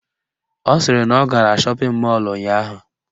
Ọ sịrị na ọ gara shọpịn mọlụ ụnyaahụ